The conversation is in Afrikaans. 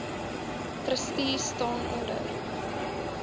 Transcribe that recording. trustees staan onder